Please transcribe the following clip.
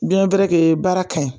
Duyɛn wɛrɛ tɛ ye baara ka ɲi